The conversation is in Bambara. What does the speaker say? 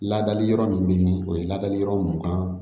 Ladali yɔrɔ min be yen o ye ladali yɔrɔ mun kan